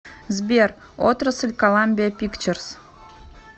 сбер отрасль коламбия пикчерс